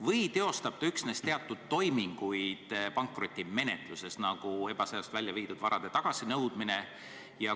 Või teostab ta üksnes teatud toiminguid pankrotimenetluses, nagu ebaseaduslikult välja viidud varade tagasinõudmine jms?